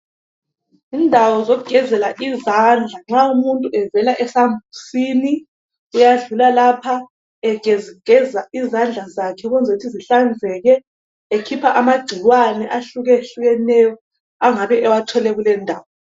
Indawo zokugezela izandla nxa abantu bevela esambuzini uyadlula lapha egeza izandla zakhe ukuze ukuthi zihlanzeke ekhipha amagcikwane ahlukehlukeneyo engabe ewathole kule indawo.